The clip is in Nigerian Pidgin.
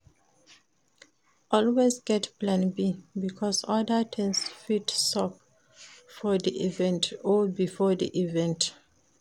Always get plan B because other things fit sup for di event or before di event